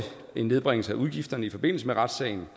en nedbringelse af udgifterne i forbindelse med retssagen